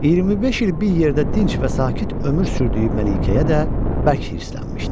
25 il bir yerdə dinc və sakit ömür sürdüyü Məlikəyə də bərk hirslənmişdi.